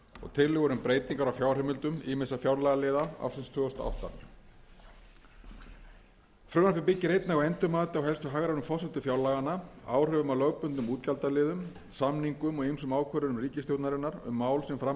tillögur um breytingar á fjárheimildum ýmissa fjárlagaliða ársins tvö þúsund og átta frumvarpið byggir einnig á endurmati á helstu hagrænum forsendum fjárlaganna áhrifum af lögbundnum útgjaldaliðum samningum og ýmsum ákvörðunum ríkisstjórnarinnar um mál sem fram hafa komið eftir